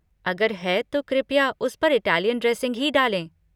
अगर है तो कृपया उस पर इटालियन ड्रेसिंग ही डालें।